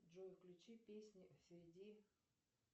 джой включи песни среди